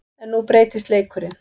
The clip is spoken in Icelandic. En nú breytist leikurinn.